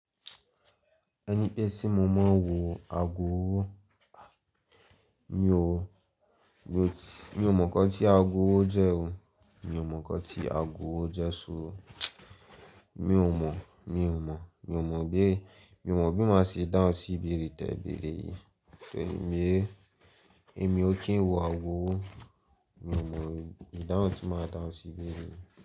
Ẹni pé tí mo mo n wo agowo, mi o, mi t--, mi o mọ nnkán tí agowo jẹ o, mi o mọ nnkán tí agowo jẹ so o. Mi o mọ, mi o mọ, mi o mọ bi, mi o mọ bi máa ṣe dahun sí ibeere tẹ́ beere yìí. So èmi, èmi ò kí ń wo agowo, mi o mọ, ìdáhùn tí máa dahun sí ibeere.